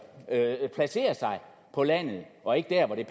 på landet og ikke der hvor det